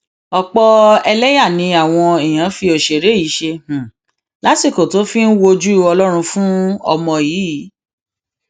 ọpọ ẹlẹyà ni àwọn èèyàn fi òṣèré yìí ṣe lásìkò tó fi ń wojú ọlọrun fún ọmọ yìí